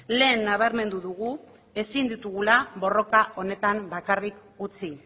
lehen nabarmendu dugu ezin ditugula borroka honetan bakarrik utzi